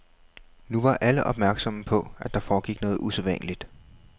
Nu var alle opmærksomme på, at der foregik noget usædvanligt.